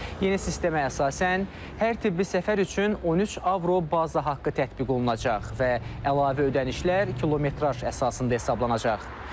Yeni sistemə əsasən, hər tibbi səfər üçün 13 avro baza haqqı tətbiq olunacaq və əlavə ödənişlər kilometraj əsasında hesablanacaq.